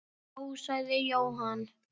Já, sagði Jóhann.